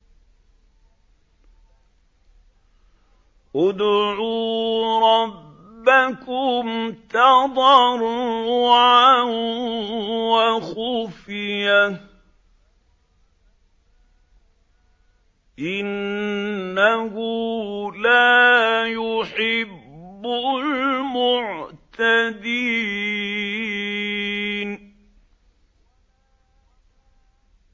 ادْعُوا رَبَّكُمْ تَضَرُّعًا وَخُفْيَةً ۚ إِنَّهُ لَا يُحِبُّ الْمُعْتَدِينَ